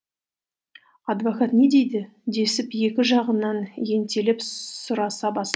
адвокат не дейді десіп екі жағынан ентелеп сұраса